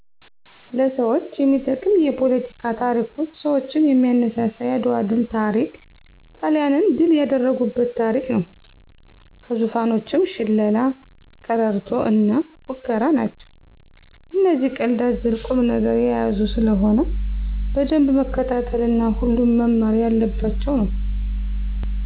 ለሰዎች የሚጠቅም የፓለቲካ ታሪኮች ሰዎችን የሚያነሳሳ የአድዋ ድል ታሪክ ጣሊያንን ድል ያደረጉበት ታሪክ ነው። ከዙፋኖችም ሽላላ፣ ቀረርቶ እና ፉከራ ናቸው እነዚህ ቀልድ አዘል ቁም ነገር የያዙ ስለሆነ በደንብ መከታተል እና ሁሉም መማር የለባቸው ነው